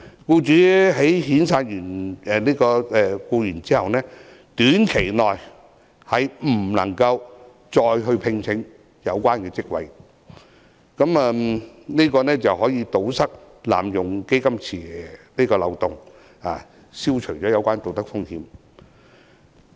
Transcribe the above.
僱主在遣散有關員工後，短期內不可再次聘請有關職位，這樣可以堵塞濫用"大基金池"的漏洞，消除有關道德風險。